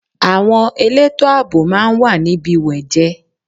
Àwọn elétò àbò máa wà níbi wejee.